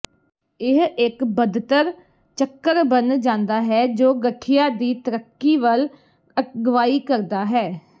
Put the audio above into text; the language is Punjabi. ਇਹ ਇੱਕ ਬਦਤਰ ਚੱਕਰ ਬਣ ਜਾਂਦਾ ਹੈ ਜੋ ਗਠੀਆ ਦੀ ਤਰੱਕੀ ਵੱਲ ਅਗਵਾਈ ਕਰਦਾ ਹੈ